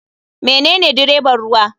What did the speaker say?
Menene dreban ruwa.